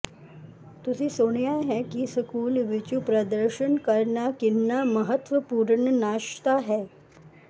ਤੁਸੀਂ ਸੁਣਿਆ ਹੈ ਕਿ ਸਕੂਲ ਵਿਚ ਪ੍ਰਦਰਸ਼ਨ ਕਰਨਾ ਕਿੰਨਾ ਮਹੱਤਵਪੂਰਨ ਨਾਸ਼ਤਾ ਹੈ